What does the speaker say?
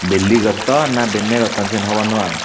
belli gotton na benye gotton siyen hobor nw pang.